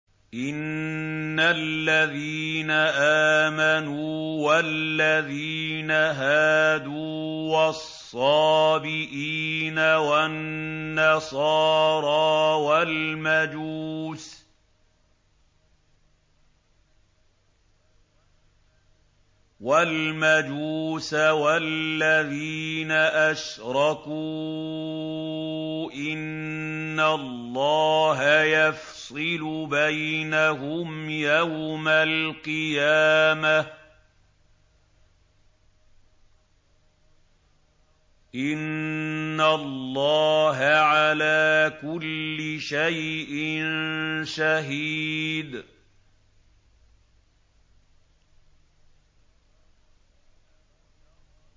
إِنَّ الَّذِينَ آمَنُوا وَالَّذِينَ هَادُوا وَالصَّابِئِينَ وَالنَّصَارَىٰ وَالْمَجُوسَ وَالَّذِينَ أَشْرَكُوا إِنَّ اللَّهَ يَفْصِلُ بَيْنَهُمْ يَوْمَ الْقِيَامَةِ ۚ إِنَّ اللَّهَ عَلَىٰ كُلِّ شَيْءٍ شَهِيدٌ